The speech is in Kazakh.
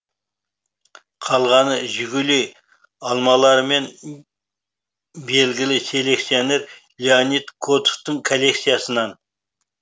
қалғаны жигули алмалары мен белгілі селекционер леонид котовтың коллекциясынан